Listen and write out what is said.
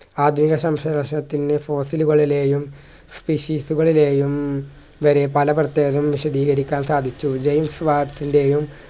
ആദ്യ fossil കളിലെയും species കളിലേയും വരെ പല പ്രത്യേകം വിശദീകരിക്കാൻ സാധിച്ചു ജെയിംസ് വാച്ചിൻ്റെയും